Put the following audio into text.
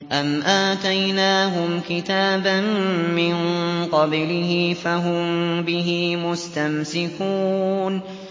أَمْ آتَيْنَاهُمْ كِتَابًا مِّن قَبْلِهِ فَهُم بِهِ مُسْتَمْسِكُونَ